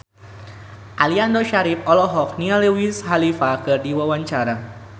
Aliando Syarif olohok ningali Wiz Khalifa keur diwawancara